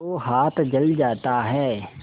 तो हाथ जल जाता है